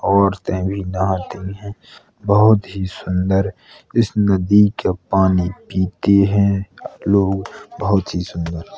औरतें भी नहाती है। बहोत ही सुन्दर इस नदी का पानी पीते हैं लोग बहोत ही शुद्ध है।